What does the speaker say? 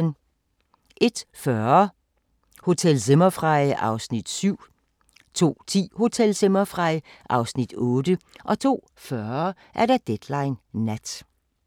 01:40: Hotel Zimmerfrei (Afs. 7) 02:10: Hotel Zimmerfrei (Afs. 8) 02:40: Deadline Nat